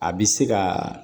A bi se ka